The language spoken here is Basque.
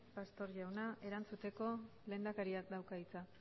pastor jauna erantzuteko lehendakariak dauka hitza